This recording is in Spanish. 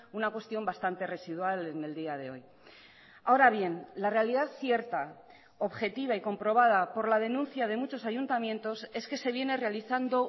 una cuestión bastante residual en el día de hoy ahora bien la realidad cierta objetiva y comprobada por la denuncia de muchos ayuntamientos es que se viene realizando